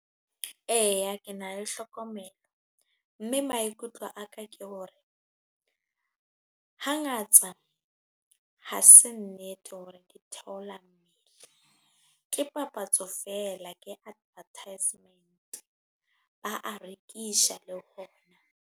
Eya ke na le hlokomelo mme maikutlo a ka ke hore, hangata ha se nnete hore ke theolla mmele ke papatso fela ke advertisement ba a rekisha le bona.